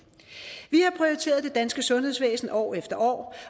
vi danske sundhedsvæsen år efter år